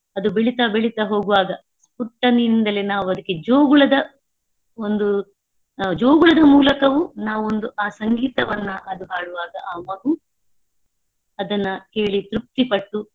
ಅದು ಬೆಳಿತ್ತಾ ಬೆಳಿತ್ತಾ ಹೋಗುವಾಗ ಪುಟ್ಟಂನಿಂದಲೇ ನಾವು ಅದಕ್ಕೆ ಜೋಗುಳದ ಒಂದು ಜೋಗುಳದ ಮೂಲಕವೂ ನಾವು ಒಂದು ಆ ಸಂಗೀತವನ್ನ ಅದು ಹಾಡುವಾಗ ಅದು ಮಗು ಅದನ್ನ ಕೇಳಿ ತೃಪ್ತಿಪಟ್ಟು.